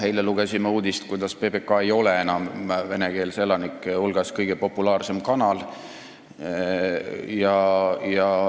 Eile lugesime uudist, kuidas PBK ei ole enam venekeelsete elanike hulgas kõige populaarsem kanal.